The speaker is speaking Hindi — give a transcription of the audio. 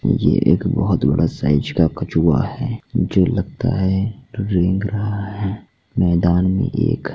एक बोहोत बड़े साइज़ का कछुआ है जो लगता है रेंग रहा है।